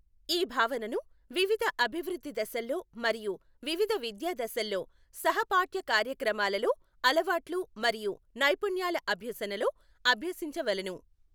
ఈ భావనను వివిధ అభివృద్ధి దశల్లో మరియు వివిధ విద్యా దశల్లో సహపాఠ్య కార్యక్రమాలలో అలవాట్లు మరియు నైపుణ్యాల అభ్యసనలో అభ్యసించవలెను.